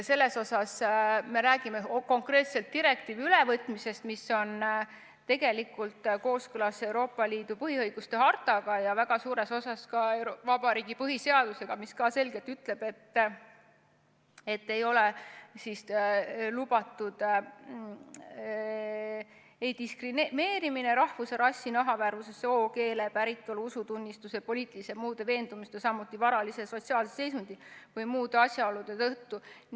Selles suhtes me räägime konkreetselt direktiivi ülevõtmisest, mis on tegelikult kooskõlas Euroopa Liidu põhiõiguste hartaga ja väga suures osas ka Eesti Vabariigi põhiseadusega, mis ütleb selgelt, et lubatud ei ole diskrimineerimine rahvuse, rassi, nahavärvuse, soo, keele, päritolu, usutunnistuse, poliitiliste või muude veendumuste, samuti varalise ja sotsiaalse seisundi või muude asjaolude tõttu.